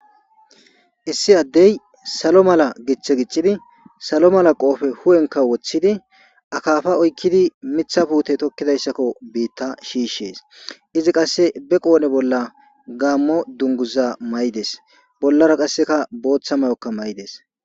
Issi adey salo mala githee gixidi salo mala qofe hu'enka wothidi akafa oykidi mitha pute tokizaysako bita shishese izi qase qodhe bolla gamo duguza mayides bollara qase botha mayo mayidese